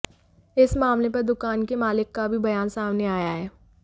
इस मामले पर दुकान के मालिक का भी बयान सामने आया है